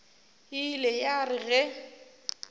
e ile ya re ge